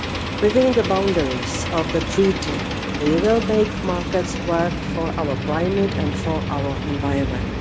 Within the boundaries of the Treaty, we will make markets work for our climate and for our environment.